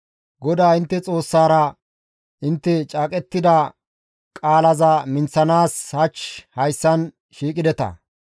GODAA intte Xoossaara intte caaqettida qaalaza minththanaas hach hayssan shiiqideta.